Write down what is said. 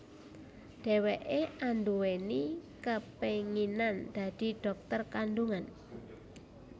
Dheweké anduweni kepenginan dadi dhokter kandungan